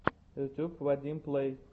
ютуб вадим плэй